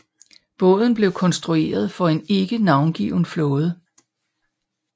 Båden blev konstrueret for en ikke navngiven flåde